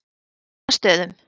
Fornastöðum